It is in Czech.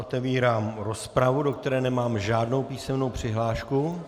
Otevírám rozpravu, do které nemám žádnou písemnou přihlášku.